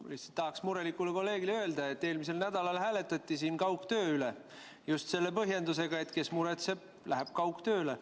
Ma lihtsalt tahan murelikule kolleegile öelda, et eelmisel nädalal hääletati siin kaugtöö üle just selle põhjendusega, et kes muretseb, läheb kaugtööle.